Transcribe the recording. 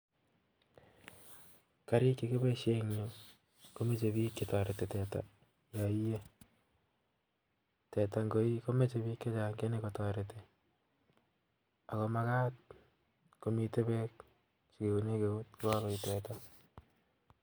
Karik chekiboisien en yu komoche biik chetoreti teta yoie. Teta ngoi komoche biik chechang' chenyokotoreti ako magat komite beek chekiune keut ye kagoie teta